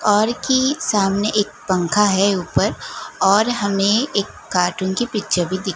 और की सामने एक पंखा है ऊपर और हमें एक कार्टून की पिक्चर भी दी--